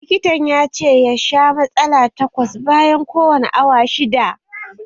Likitan ya ce ya sha matsala takwas bayan kowani awa shidda